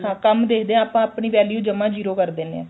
ਹਾਂ ਕੰਮ ਦੇਖਦੇ ਆ ਆਪਾਂ ਆਪਣੀ value ਜਮਾ zero ਕਰ ਦਿੰਨੇ ਆ